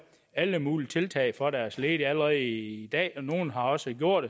alle mulige tiltag for deres ledige allerede i dag og nogle har også gjort